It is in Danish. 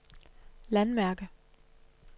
landmærke